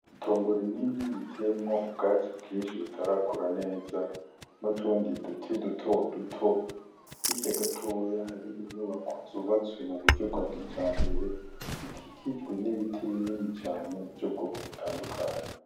itongo rinini riteyemwo ubwatsi bwinshi butarakura neza nutundi duti duto duto hirya gatoya hari inyubako zubatswe mu buryo bwa kijambere zikikijwe nibiti binini cane vy'ubwoko butandukanye.